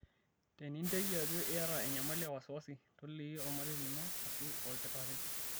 Teninteki ajo iyata enyamali e wasiwasi, toliki olmarei lino aashu olkitarri.